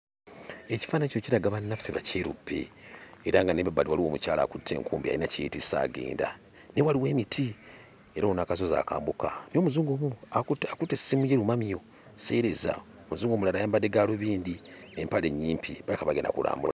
Ekifaananyi kino kiraga bannaffe Bakyeruppe era nga n'emabbali waliwo omukyala akutte enkumbi ayina kye yeetisse agenda. Naye waliwo emiti era waliwo n'akasozi akambuka naye Omuzungu wuuno akutte akutte essimu ye lumamyo, sseereza, Ouzungu omulala ayambadde gaalubindi, empale nnyimpi, balabika bagenda kulambula.